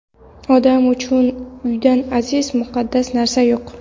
Odam uchun uydan aziz, muqaddas narsa yo‘q.